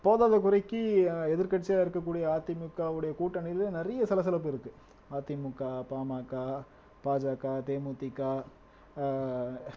போதாத குறைக்கு எதிர்க்கட்சியா இருக்கக்கூடிய அதிமுகவுடைய கூட்டணியில நிறைய சலசலப்பு இருக்கு அதிமுக பாமக பாஜக தேமுதிக ஆஹ்